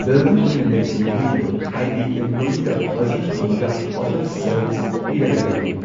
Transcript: Building ꯑꯣꯏꯅ ꯂꯩꯕꯅꯤ ꯃꯣꯏꯒꯤꯗꯣ ꯍꯥꯏꯗꯤ ꯢꯝꯄ꯭ꯂꯣꯌꯤꯒ ꯐꯖꯅ ꯊꯝꯃꯒ ꯍꯣꯇꯦꯜ ꯁꯔꯚꯤꯁ ꯄꯤꯔꯒ ꯂꯩꯕꯅꯤ꯫